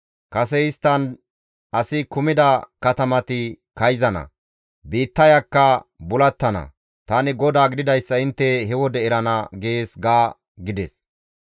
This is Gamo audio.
Kase isttan asi kumida katamati kayzana; biittayakka bulattana. Tani GODAA gididayssa intte he wode erana› gees» ga gides.